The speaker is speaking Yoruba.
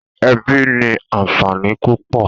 Èbí ni ànfání púpò